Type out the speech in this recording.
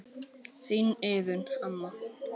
Þín Iðunn amma.